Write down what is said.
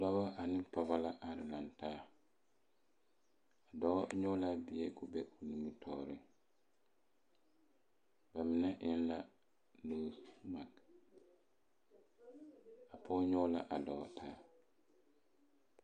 Dɔba ane pɔgeba la are lantaa dɔɔ nyɔge la a bie ka o be o nimitɔɔreŋ ba mine eŋ la nosemage a pɔge nyɔge la a dɔɔ taa